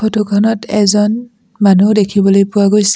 Photo খনত এজন মানু্হ দেখিবলৈ পোৱা গৈছে।